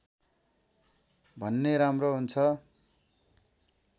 भने राम्रो हुन्छ